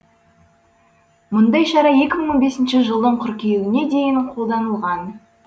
мұндай шара екі мың он бесінші жылдың қыркүйегіне дейін қолданылған